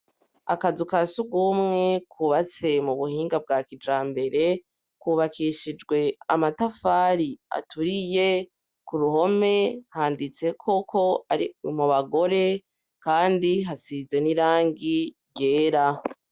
Akazu ka sugumwe kubatse mu buhinga bwa kijambere kubakishijwe amatafari aturiye ku ruhome handitseko ko ari mu bagore kandi hasize n'irangi ryera.